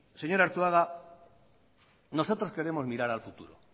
señor arzuaga nosotros queremos mirar al futuro